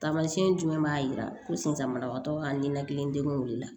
Taamasiyɛn jumɛn b'a yira ko sinzana ka ninakili degun de la